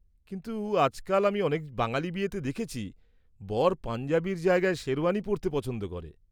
কিন্তু আজকাল আমি অনেক বাঙালি বিয়েতে দেখেছি বর পাঞ্জাবির জায়গায় শেরওয়ানি পরতে পছন্দ করে।